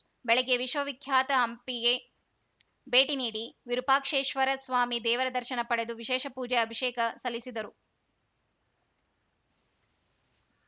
ಬೆಳಗ್ಗೆ ವಿಶ್ವವಿಖ್ಯಾತ ಹಂಪಿಗೆ ಭೇಟಿ ನೀಡಿ ವಿರೂಪಾಕ್ಷೇಶ್ವರಸ್ವಾಮಿ ದೇವರ ದರ್ಶನ ಪಡೆದು ವಿಶೇಷ ಪೂಜೆ ಅಭಿಷೇಕ ಸಲ್ಲಿಸಿದರು